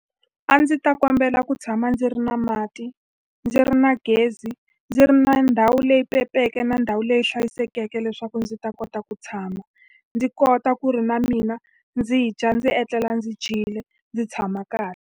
A ndzi ta kombela ku tshama ndzi ri na mati, ndzi ri na gezi, ndzi ri na ndhawu leyi na ndhawu leyi hlayisekeke leswaku ndzi ta kota ku tshama. Ndzi kota ku ri na mina ndzi yi dya, ndzi etlela ndzi dyile, ndzi tshama kahle.